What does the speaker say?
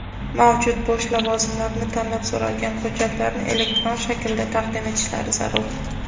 mavjud bo‘sh lavozimlarni tanlab so‘ralgan hujjatlarni elektron shaklda taqdim etishlari zarur.